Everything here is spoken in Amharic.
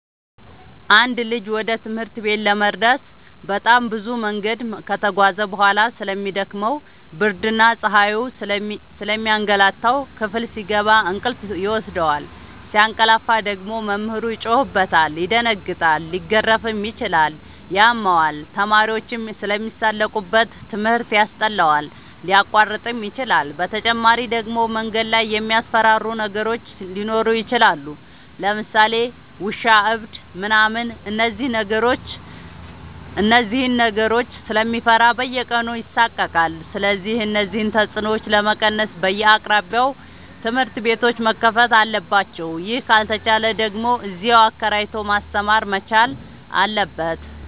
አንድ ልጅ ወደ ትምህርት ቤት ለመድረስ በጣም ብዙ መንገድ ከተጓዘ በጣም ስለሚ ደክመው ብርድና ፀሀዩ ስለሚያገላታው። ክፍል ሲገባ እንቅልፍ ይወስደዋል። ሲያቀላፍ ደግሞ መምህሩ ይጮህበታል ይደነግጣል ሊገረፍም ይችላል ያመዋል፣ ተማሪዎችም ስለሚሳለቁበት ትምህርት ያስጠላዋል፣ ሊያቋርጥም ይችላል። በተጨማሪ ደግሞ መንገድ ላይ የሚያስፈራሩ ነገሮች ሊኖሩ ይችላሉ ለምሳሌ ውሻ እብድ ምናምን እነዚህን ነገሮች ስለሚፈራ በየቀኑ ይሳቀቃል። ስለዚህ እነዚህን ተፅኖዎች ለመቀነስ በየአቅራቢያው ትምህርት ቤቶዎች መከፈት አለባቸው ይህ ካልተቻለ ደግሞ እዚያው አከራይቶ ማስተማር መቻል አለበት።